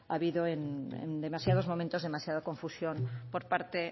habido en demasiados momentos demasiada confusión por parte